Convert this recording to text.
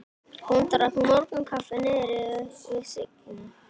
Hún drakk morgunkaffi niðri við Signu.